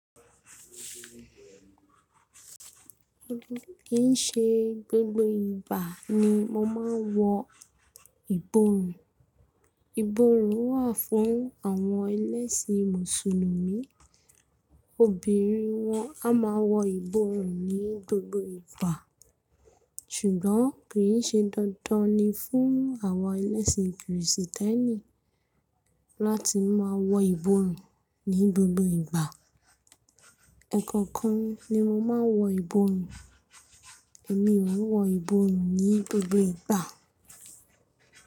Kì ń ṣe gbogbo ìgbà ni mo máa ń wọ ìborùn. Ìborùn wà fún àwọn ẹlẹ́sìn mùsùlùmí obìnrin wọn a máa wọ ìborùn ní gbogbo ìgbà. Ṣùgbọ́n kì í ṣe dandan ni fún àwọn ẹlẹ́sìn kìrìsìtẹ́nì láti máa wọ ìborùn ní gbogbo ìgbà. Ẹ̀ẹ̀kan kan ni mo máa ń wọ ìborùn èmi ò wọ ìborùn ní gbogbo ìgbà.